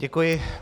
Děkuji.